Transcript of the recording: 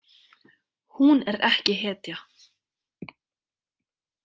Hún er ekki hetja.